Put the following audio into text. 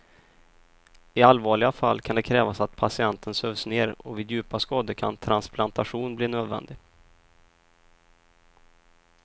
I allvarliga fall kan det krävas att patienten sövs ner och vid djupa skador kan transplantation bli nödvändig.